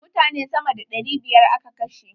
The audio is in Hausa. Mutane sama da ɗari biyar a ka kashe.